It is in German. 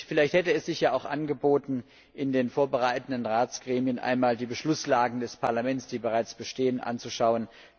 Vielleicht hätte es sich ja auch angeboten, in den vorbereitenden Ratsgremien einmal die Beschlusslagen des Parlaments, die bereits bestehen, anzuschauen.